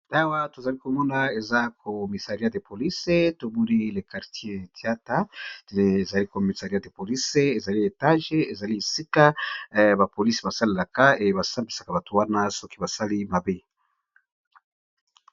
Awa tozali komona, ezali esika oyo police esalelaka